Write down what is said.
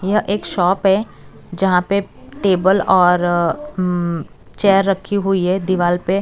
यह एक शॉप है जहां पे टेबल और अ म चेयर रखी हुई है दीवाल पे।